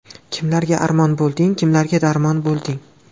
Kimlarga armon bo‘lding, Kimlarga darmon bo‘lding.